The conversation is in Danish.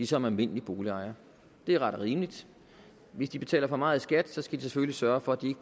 som almindelige boligejere det er ret og rimeligt hvis de betaler for meget i skat skal vi selvfølgelig sørge for at de